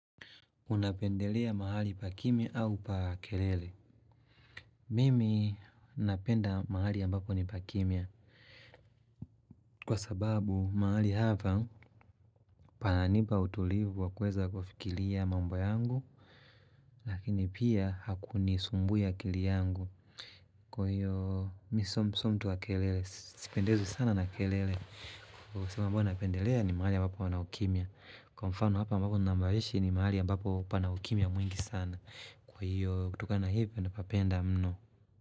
Unapendelea mahali pa kimya au pa kelele? Mimi napenda mahali ambapo ni pa kimya kwa sababu mahali hapa pananipa utulivu wa kweza kufikiria mambo yangu lakini pia hakunisumbui akilia yangu kwa hiyo mi sio mtu wa kelele, sipendi sana kelele kwa sababu mahali ambambo napendelea ni mahali ambapo pana ukimya Kwa mfano hapa ambapo ninamoishi ni mahali ambapo pana ukimya mwingi sana Kwa hiyo kutokana hivyo napapenda mno.